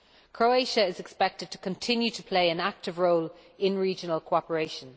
Croatia is expected to continue to play an active role in regional cooperation.